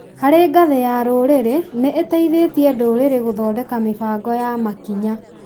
Harĩ ngathĩ ya rũrĩrĩ, nĩ tũteithĩtie ndũrĩrĩ gũthondeka mĩbango ya makinya